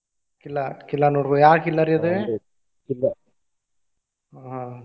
ಕಿಲ್ಲಾ ಕಿಲ್ಲಾ ನೋಡ್ಬಹುದ್ ಯಾವ ಕಿಲ್ಲಾರಿ ಅದ್ ? ಆಹ್.